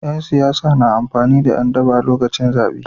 Yan siyasa na amfani da Yan DAna lokacin zabe